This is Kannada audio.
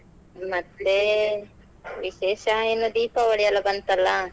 ಮತ್ತೇ ವಿಶೇಷ ಎಲ್ಲ Deepavali ಯಲ ಬಂತಲ್ಲಾ.